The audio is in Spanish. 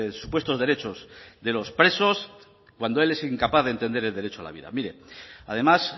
supuestos derechos de los presos cuando él es incapaz de entender el derecho a la vida mire además